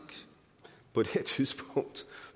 på det her tidspunkt